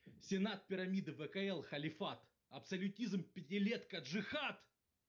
сенат пирамида вкл халифат абсолютизм пятилетка джихад